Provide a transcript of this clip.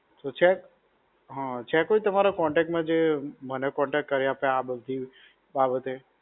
તો છે? હા, છે કોઈ તમારા contact માં જે મને contact કરાઈ આપે આ બધી બાબતે.